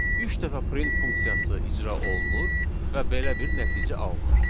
Üç dəfə print funksiyası icra olunur və belə bir nəticə alınır.